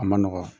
A ma nɔgɔ